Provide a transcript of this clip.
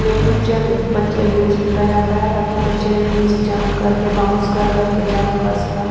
play group ਚਾਹੇ ਫਿਰ ਬੱਚਾ ਯੂਜ਼ ਕੀਤਾ ਜਾਂਦਾ ਹੈ ਤਾਂ ਕਿ ਬੱਚੇ ਦੇ ਵਿੱਚ ਜੰਪ ਕਰਕੇ ਬਾਉਂਸ ਕਰ ਕਰ ਕੇ ਜੰਪ ਕਰ ਸਕਣ --